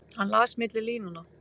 Hann las milli línanna.